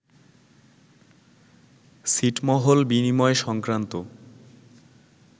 ছিটমহল বিনিময় সংক্রান্ত